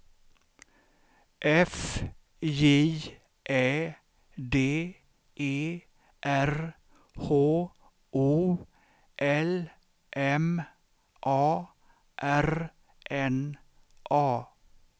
F J Ä D E R H O L M A R N A